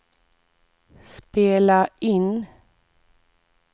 spela in